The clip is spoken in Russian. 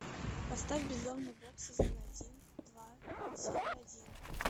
поставь безумный бог сезон один два серия один